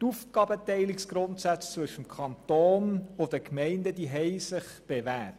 Die Grundsätze der Aufgabenteilung zwischen dem Kanton und den Gemeinden haben sich bewährt.